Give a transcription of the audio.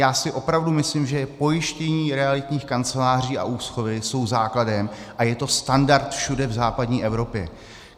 Já si opravdu myslím, že pojištění realitních kanceláří a úschovy jsou základem a je to standard všude v západní Evropě.